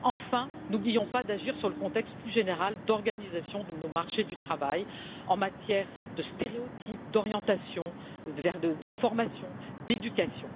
Enfin, n'oublions pas d'agir sur le contexte plus général d'organisation de nos marchés du travail en matière de stéréotypes, d'orientation, de formation, d'éducation.